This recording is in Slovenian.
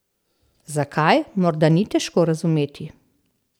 Zakaj, morda ni težko razumeti.